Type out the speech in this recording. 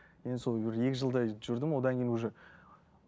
енді сол бір екі жылдай жүрдім одан кейін уже